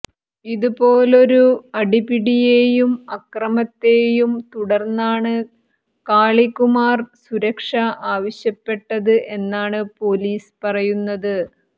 ഇതുപോലൊരു അടിപിടിയേയും അക്രമത്തേയും തുടര്ന്നാണ് കാളികുമാര് സുരക്ഷ ആവശ്യപ്പെട്ടത് എന്നാണ് പൊലീസ് പറയുന്നത്